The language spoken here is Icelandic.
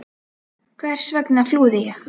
Hvers vegna flúði ég?